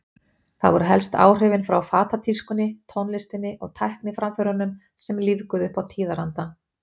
Það voru helst áhrifin frá fatatískunni, tónlistinni og tækniframförunum sem lífguðu upp á tíðarandann.